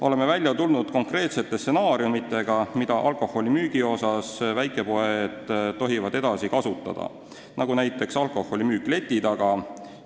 Oleme välja tulnud konkreetsete stsenaariumidega, mida väikepoed alkoholi müües tohivad edasi kasutada, näiteks alkoholi müük leti taga.